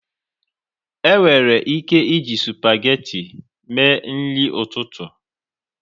Enwere ike iji spageti mee nri ụtụtụ